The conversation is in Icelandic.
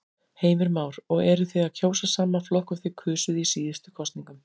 Heimir Már: Og eruð þið að kjósa sama flokk og þið kusuð í síðustu kosningum?